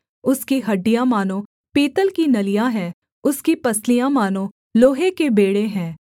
उसकी हड्डियाँ मानो पीतल की नलियाँ हैं उसकी पसलियाँ मानो लोहे के बेंड़े हैं